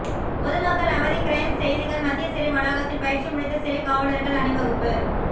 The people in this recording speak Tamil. பொதுமக்கள் அவதி க்ரைம் செய்திகள் மத்திய சிறை வளாகத்தில் பயிற்சி முடித்த சிறை காவலர்கள் அணிவகுப்பு